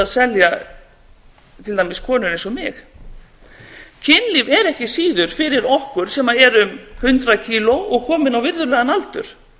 selja til dæmis konur eins og mig kynlíf er ekki síður fyrir okkur sem erum hundrað kíló og komin á virðulegan aldur